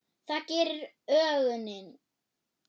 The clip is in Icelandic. Það gerir ögunin.